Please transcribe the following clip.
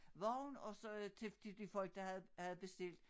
Vogn og så øh til de de folk der havde havde bestilt